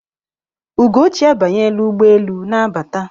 Ugochi abanyela ụgbọelu na-abata.